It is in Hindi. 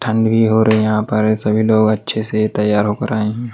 ठंड भी और यहां पर सभी लोग अच्छे से तैयार होकर आए हैं।